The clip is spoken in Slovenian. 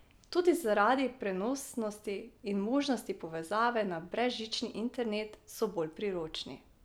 Tudi zaradi prenosnosti in možnosti povezave na brezžični internet so bolj priročni.